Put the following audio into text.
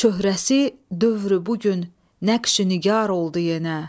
Çöhrəsi dövrü bu gün nəqşü nigaar oldu yenə.